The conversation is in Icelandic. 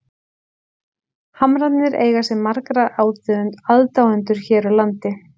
Hamrarnir eiga sér marga aðdáendur hér á landi.